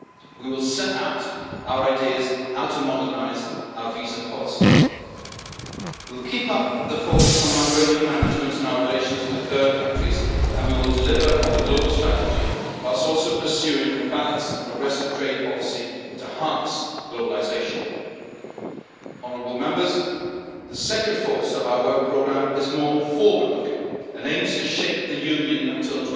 proposal. We will set out our ideas about how to modernise our visa policy. We will keep up the focus on migration management in our relations with third countries and we will deliver on the global strategy, whilst also pursuing a balanced and progressive trade policy to harness globalisation. The second focus of our Work Programme is more forward looking and aims to shape the